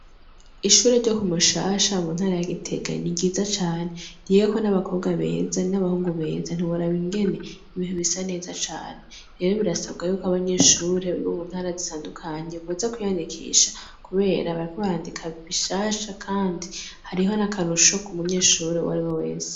Ishure ryo Kumushasha mu ntara ya Gitega ni ryiza cane ryigako n'abakobwa beza n' abahungu beza ntiworaba ingene ari ryiza cane rero birasabwa yuko abanyeshure biga mu ntara zitandukanye boza kwiyandikisha kubera bishasha kandi hariyo n' akarusho ku munyeshure uwariwe wese.